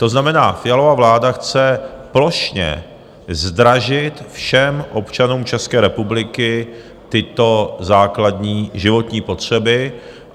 To znamená, Fialova vláda chce plošně zdražit všem občanům České republiky tyto základní životní potřeby.